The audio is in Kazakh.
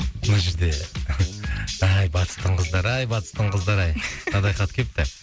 мына жерде ай батыстың қыздары ай батыстың қыздары ай мынадай хат кепті